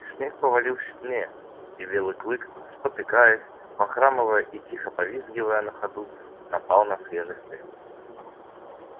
снег повалил сильнее и белый клык спотыкаясь похрамывая и тихо повизгивая на ходу напал на свежий след